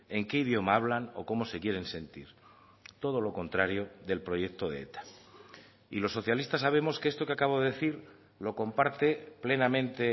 en qué idioma hablan o cómo se quieren sentir todo lo contrario del proyecto de eta y los socialistas sabemos que esto que acabo de decir lo comparte plenamente